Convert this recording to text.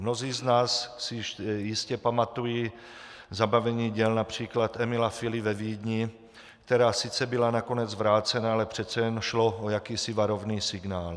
Mnozí z nás si jistě pamatují zabavení děl například Emila Fily ve Vídni, která sice byla nakonec vrácena, ale přece jen šlo o jakýsi varovný signál.